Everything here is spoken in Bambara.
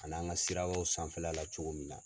Ka na an ka sirabaw sanfɛla la cogo min na